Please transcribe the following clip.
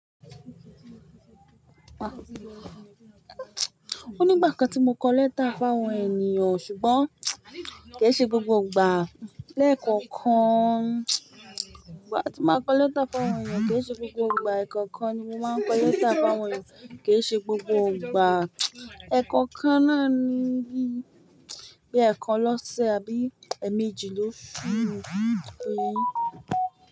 O ní ìgbà kan tí mo kọ lẹ́tà fún àwọn ènìyàn ṣùgbọ́n kì í ṣe gbogbo ìgbà. Lẹ́ẹ̀kan kan, ìgbà tí mo máa ń kọ lẹ́tà fún àwọn ènìyàn kì í ṣe gbogbo ìgbà. Ẹ̀ẹ̀kan kan ni mo máa ń kọ lẹ́tà fún àwọn ènìyàn, kì í ṣe gbogbo ìgbà. Ẹ̀ẹ̀kan kan náà ni bíi bi ẹ̀ẹ̀kan lọ́sẹ̀ àbí ẹméjì lọ́sù.